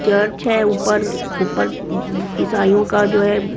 church है ऊपर ऊपर ईसाइयों का जो है --